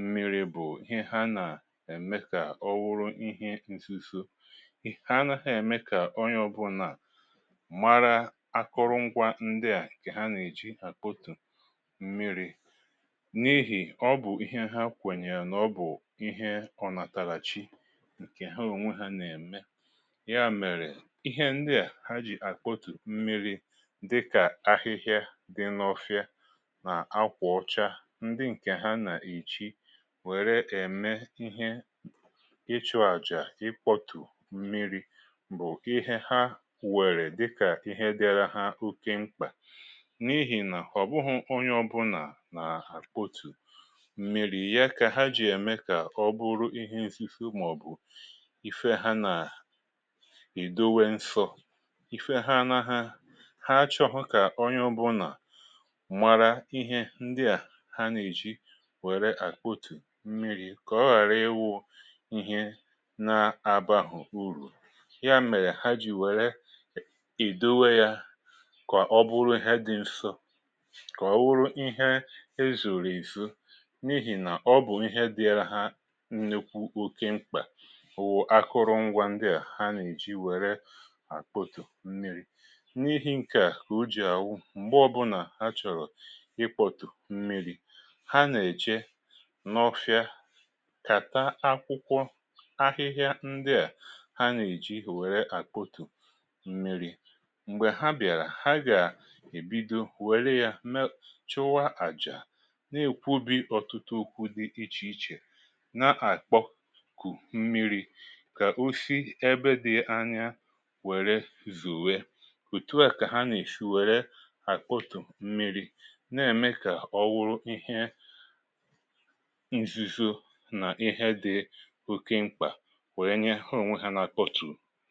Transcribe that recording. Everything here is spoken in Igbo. mmiri bụ̀ ihe ha na-eme ka ọ wụrụ ihe nzizọ, ì ha na ha eme ka ọnye ọ̀bụ̀na mara akụrụ ngwa ndi a ke ha na-eji akpọtụ̀ mmiri̇ n’ihì ọ bụ̀ ihe ha kwenyere n’ọbụ̀ ihe ọ natala chi nke ha ọ̀nwe ha na-eme ya mere ihe ndi a ha jì akpọtụ̀ mmiri̇ dịka ahịhịa di n’ọ̀fia na akwa ọcha ndi nke ha na-eji were eme ihe ị chụ aja ikpọtụ mmiri bụ̀ ihe ha were dịka ihe dịara ha ọke ḿkpa. N’ihì na ọ̀ bụhụ̀ ọnye ọbụla na akpọtù mmi̇ri̇ ya ka ha jì eme ka ọ bụrụ ihe nzizọ maọ̀bụ̀ ife ha na edọwe nsọ. Ife ha na ha ha chọ̀hụ̀ ka ọnye ọbụna mara ihe ndịa ha na-eji were akpọtù mmiri ka ọ ghara iwụ ihe na abahụ̀ ụrụ. Ya mere ha jì were ì dọwe ya ka ọ bụrụ ihe dị nsọ, ka ọ wụrụ ihe ezọ̀rọ̀ ezọ n’ihì na ọ bụ̀ ihe dịala ha nnụkwụ ọke mkpa wụ̀ akụrụ ngwa ndịa ha na-eji were akpọtụ mmiri̇. N’ihi̇ nke a ka ọjì awụ m̀gbe ọ̇bụ̇na ha chọ̀rọ̀ ịkpọ̀tụ̀ mmiri̇ ha na-eche n’ọfịa kata akwụkwọ ahịhịa ndịa ha na eji were akpọtụ mmịrị. Mgbe ha bị̀ara, ha ga-ebidọ were ya me, chụwa aja n’ekwụbi ọ̀tụtụ ụkwụ di ìche ìche na-akpọ kù m̀miri ka ọ si ebe di̇ anya were zọwe. Ọ̀tù a ka ha na-eshi were akpọtù m̀miri na-eme ka ọ wụrụ ihe nzùzọ na ihe di ọ̀ke mkpa were nye ha onwe ha na akpọ̀tù.